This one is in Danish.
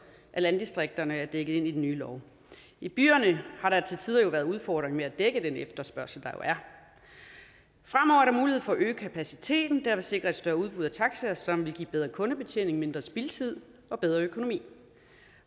at landdistrikterne er dækket ind i den nye lov i byerne har der til tider været en udfordring med at dække den efterspørgsel der jo er fremover er der mulighed for at øge kapaciteten der vil sikre et større udbud af taxier som vil give bedre kundebetjening mindre spildtid og bedre økonomi